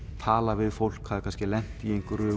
talað við fólk það hafði kannski lent í einhverju